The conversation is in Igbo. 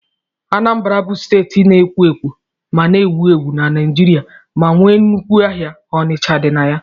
Anambra bụ steeti na-ekwo ekwo ma na-ewu ewu na Naijiria ma nwee nnukwu ahịa Onicha dị na ya.